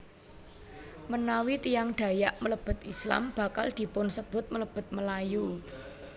Menawi tiyang Dayak mlebet Islam bakal dipunsebut mlebet Melayu